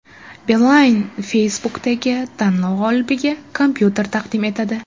Beeline Facebook’dagi tanlov g‘olibiga kompyuter taqdim etadi.